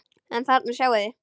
En þarna sjáið þið!